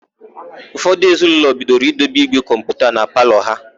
Ụfọdụ ezinaụlọ bidoro idebe ígwè kọmputa na palọ ha.